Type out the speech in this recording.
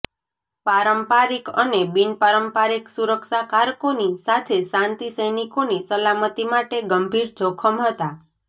પારંપરિક અને બિનપારંપરિક સુરક્ષા કારકોની સાથે શાંતિ સૈનિકોની સાલમતી માટે ગંભીર જોખમ હતાં